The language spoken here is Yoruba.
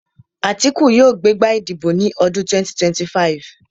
Àtíkù yóò gbé gbá ìdìbò ní ọdún 2025